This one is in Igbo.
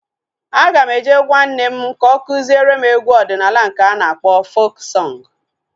Aga m eje gwaa nne m ka o kụziere m egwu ọdịnala nke a na-akpọ fok sọng